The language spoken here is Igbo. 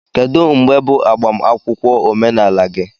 Kedu mgbe bụ agbamakwụkwọ omenala gị?